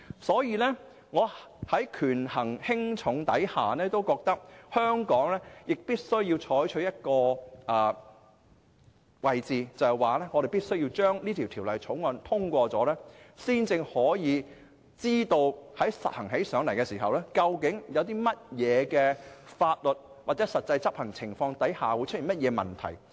所以，在權衡輕重後，我認為香港必須採取的立場是應該通過《條例草案》，這樣才能知道在實行時究竟會在何種法律或實際執行情況下，出現何種問題。